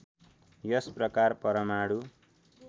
यस प्रकार परमाणु